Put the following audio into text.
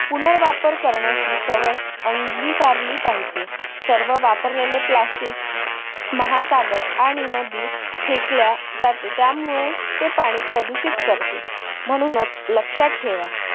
पुनर्वापवर करण्याची सवय अंगीकारली पाहिजे. सर्व वापरलेले plastic महासागर आणि नदी फेकल्या जाते. त्यामुळे ते पाणी प्रदूषित करते. म्हणूनच लक्षात ठेवा.